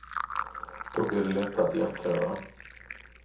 Då blir det lättare att jämföra.